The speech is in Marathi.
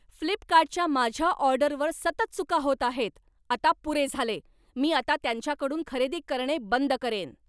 फ्लिपकार्टच्या माझ्या ऑर्डरवर सतत चुका होत आहेत, आता पुरे झाले, मी आता त्यांच्याकडून खरेदी करणे बंद करेन.